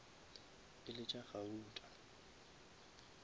e le tša gauta